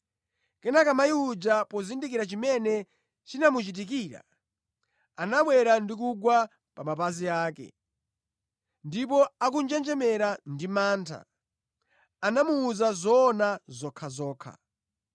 Kenaka mayi uja pozindikira chimene chinamuchitikira, anabwera ndi kugwa pa mapazi ake, ndipo akunjenjemera ndi mantha, anamuwuza zoona zokhazokha.